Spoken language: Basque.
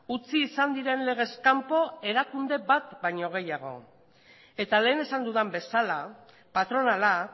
utzi izan diren legez kanpo erakunde bat baino gehiago eta lehen esan dudan bezala patronala